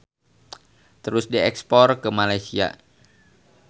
Terus diekspor ke Malaysia.